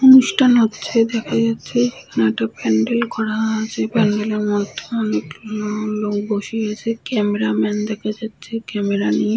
অনুষ্ঠান হচ্ছে দেখা যাচ্ছে যেখানে প্যান্ডেল করা আছে । প্যান্ডেল - এর মধ্যে অনেক লোক বসে আছে । ক্যামেরা ম্যান দেখা যাচ্ছে ক্যামেরা নিয়ে ।